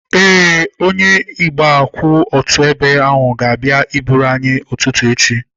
Ee, onye igwe kwụ otu ebe ga-abịa eburu anyị ụtụtụ echi.